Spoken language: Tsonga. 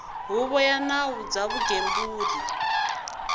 huvo ya nawu bya vugembuli